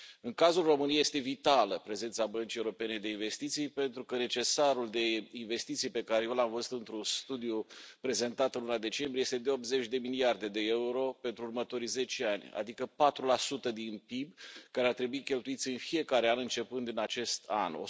În cazul României, este vitală prezența Băncii Europene de Investiții pentru că necesarul de investiții pe care eu l am văzut într un studiu prezentat în luna decembrie este de 80 de miliarde de euro pentru următorii zece ani, adică 4 din PIB, care ar trebui cheltuiți în fiecare an începând din acest an